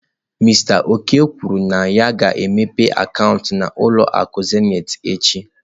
Mister Oko kwuru na ya ga-emepe akaụntụ n'ụlọ akụ Zenith echi.